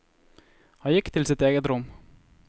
Han gikk til sitt eget rom.